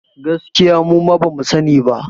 Gaskiya muma bamu sa ni ba